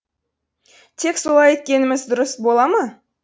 тек солай еткеніміз дұрыс бола ма